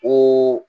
O